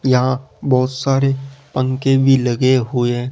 यहां बहोत सारे पंखे भी लगे हुए--